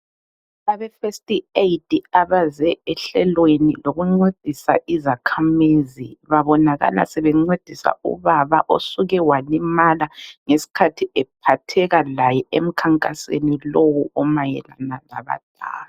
Abe first Aid abaze ehlelweni lokuncedisa izakhamizi, babonakala sebencedisa ubaba osuke walimala ngesikhathi ephatheka laye emkhankasweni lowu omayelana labadala.